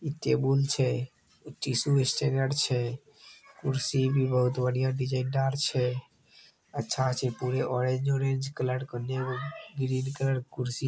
table छै tissue स्टेनेर छै कुर्सी भी बहुत बढ़िया डीजाइन दार छै अच्छा छै पूरे ऑरेंज उरेंज कलर के औने ग्रीन कलर के कुर्सी --